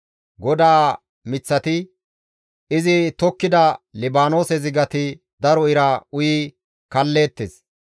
GODAA miththati, izi tokkida Libaanoose zigati daro ira uyi kalleettes.